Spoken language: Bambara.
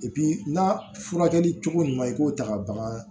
n'a furakɛli cogo ɲuman i k'o ta ka bagan